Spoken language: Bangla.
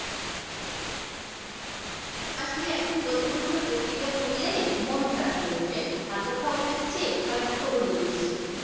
আসলে এখন বর্তমান সময়ে পত্রিকা পড়লেএ মন খারাপ হয়ে যাই ভালো খবরের চেয়ে খারাপ খবরই বেশি